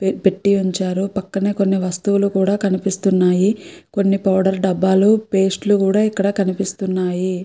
పెట్టి ఉంచారు పక్కనే కొన్ని వస్తువులు కూడా కనిపిస్తున్నాయి కొన్ని పౌడర్ డబ్బాలు పేస్ట్ లు కూడా ఇక్కడ కనిపిస్తున్నాయి.